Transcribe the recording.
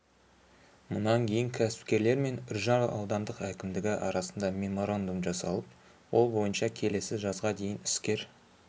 мұнан кейін кәсіпкерлер мен үржар аудандық әкімдігі арасында меморандум жасалып ол бойынша келесі жазға дейін іскер